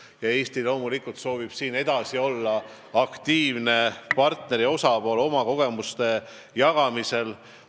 Eesti soovib siin loomulikult olla edasi aktiivne partner ja osapool oma kogemuste jagamisel.